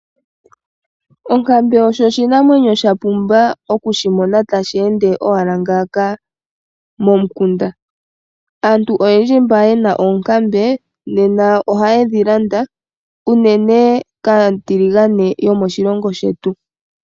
Onkambe osho oshinamwenyo sha pumba okushimona tashi ende owala ngaaka momukunda. Aantu oyendji mba ye na oonkambe nena ohaye dhi landa uunene kaatiligane yomoshilongo shetu.